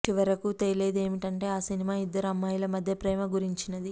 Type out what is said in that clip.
చివరకు తేలేది ఏమిటంటే ఆ సినిమా ఇద్దరు అమ్మాయిల మధ్య ప్రేమ గురించినది